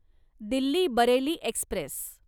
Delhi Bareilly Express